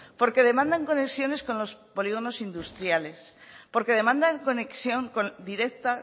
porque demandan conexiones con los polígonos industriales porque demandan conexión directa